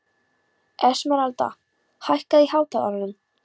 Esmeralda, hækkaðu í hátalaranum.